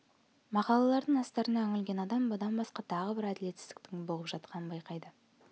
мақалалардың астарына үңілген адам бұдан басқа тағы бір әділетсіздіктің бұғып жатқанын байқайды